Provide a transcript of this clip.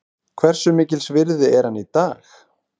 Hversu mikils virði er hann í dag?